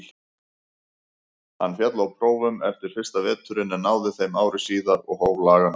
Hann féll á prófum eftir fyrsta veturinn en náði þeim ári síðar og hóf laganám.